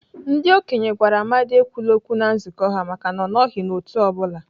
Ndị okenye gwara Amadi ekwule okwu na nzukọ ha maka na ọ nọghị n'otu ọ bụla.